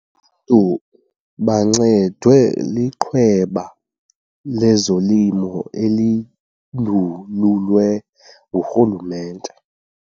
ntu bancedwe liqweba lezolimo elindululwe ngurhulumente.